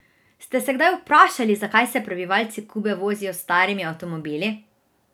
Ste se kdaj vprašali, zakaj se prebivalci Kube vozijo s starimi avtomobili?